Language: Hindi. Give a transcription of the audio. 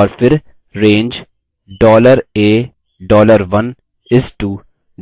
और फिर range $a $1 is to